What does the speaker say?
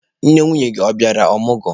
Nne nwunye gị ọ bịala ọmụgwọ?